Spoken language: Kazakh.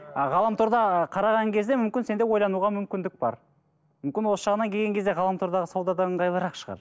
ы ғаламторда қараған кезде мүмкін сенде ойлануға мүмкіндік бар мүмкін осы жағынан келген кезде ғаламтордағы сауда да ыңғайлырақ шығар